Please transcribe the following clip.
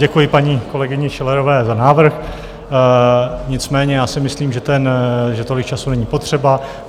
Děkuji paní kolegyni Schillerové za návrh, nicméně já si myslím, že tolik času není potřeba.